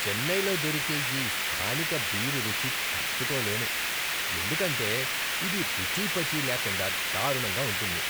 చెన్నైలో దొరికే ఈ స్థానిక బీర్ రుచి తట్టుకోలేను ఎందుకంటే ఇది రుచీపచీ లేకుండా దారుణంగా ఉంటుంది.